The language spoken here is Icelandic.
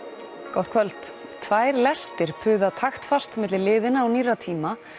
gott kvöld tvær lestir puða taktfast milli liðinna og nýrra tíma